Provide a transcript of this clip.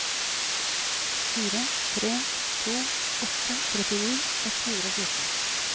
fire tre to åtte trettini ett hundre og fjorten